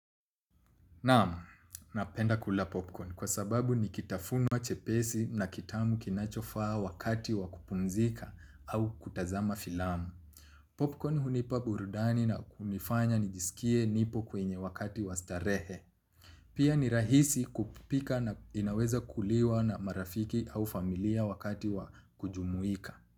Naamu, napenda kula popcorn kwa sababu nikitafunwa chepesi na kitamu kinachofaa wakati wakupumzika au kutazama filamu. Popcorn hunipa burudani na kunifanya nijisikie nipo kwenye wakati wastarehe. Pia ni rahisi kupika na inaweza kuliwa na marafiki au familia wakati wakujumuika.